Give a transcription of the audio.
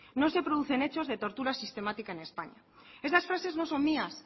no se producen hechos de tortura sistemática en españa estas frases no son mías